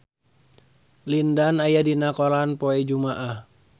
Lin Dan aya dina koran poe Jumaah